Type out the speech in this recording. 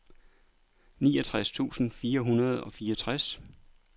niogtres tusind fire hundrede og fireogtres